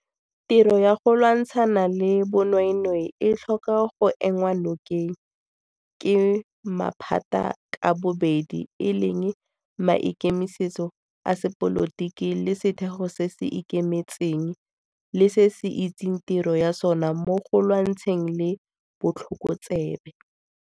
Tiro ya go lwantshana le bonweenwee e tlhoka go enngwa nokeng ke maphata ka bobedi e leng maikemisetso a sepolotiki le setheo se se ikemetseng le se se itseng tiro ya sona mo go lwantshaneng le botlhokotsebe.